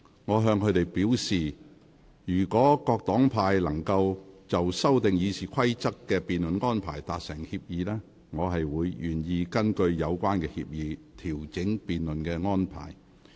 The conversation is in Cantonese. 我向他們表示，若各黨派議員能就修訂《議事規則》的辯論安排達成協議，我願意根據有關協議，調整辯論安排。